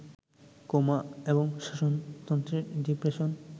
coma এবং শ্বসনতন্ত্রে depression